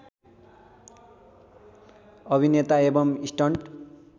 अभिनेता एबम् स्टन्ट